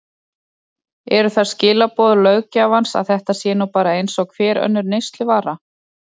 Eru það skilaboð löggjafans að þetta sé nú bara eins og hver önnur neysluvara?